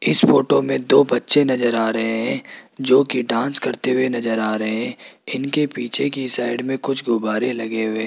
इस फोटो में दो बच्चे नजर आ रहे हैं जो कि डांस करते हुए नजर आ रहे हैं इनके पीछे की साइड में कुछ गुब्बारे लगे हुए--